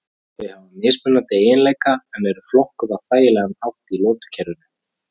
Þau hafa mismunandi eiginleika en eru flokkuð á þægilegan hátt í lotukerfinu.